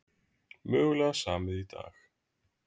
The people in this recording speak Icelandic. Mögulega samið í dag